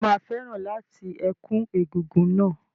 Ṣé o máa fẹ́ràn láti ẹ̀kú egúngún náà?